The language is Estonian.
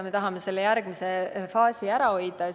Me tahame selle järgmise faasi ära hoida.